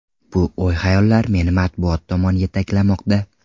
Bu o‘y-xayollar meni matbuot tomon yetaklamoqda.